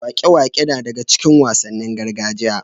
Waƙe-waƙe na daga cikin wasannin gargajiya.